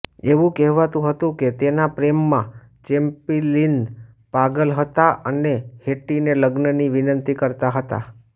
એવું કહેવાતું હતું કે તેના પ્રેમમાં ચૅપ્લિન પાગલ હતા અને હેટ્ટીને લગ્નની વિંનંતી કરતા હતા